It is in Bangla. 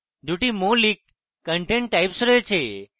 2 মৌলিক content types রয়েছে